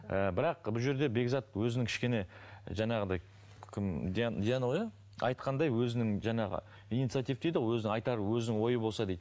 ііі бірақ бұл жерде бекзат өзінің кішкене жаңағыдай кім диана ғой иә айтқандай өзінің жаңағы инициатив дейді ғой өзінің айтары өзінің ойы болса дейді